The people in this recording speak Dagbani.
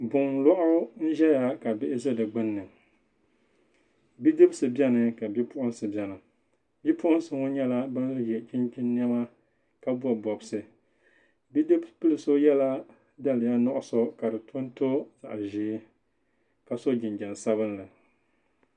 Gunlɔɣu n zɛya kabihi zɛ di gbunni bidibisi beni ka bipuɣinsi beni bipuɣinsi. nyala ban ye chinchini nema kabɔb. dibɔbsi bidibilso yala daliya nuɣusokadi tonto zaɣzɛɛ. kaso jinjam sabinli